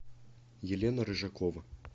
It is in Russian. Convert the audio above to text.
елена рыжакова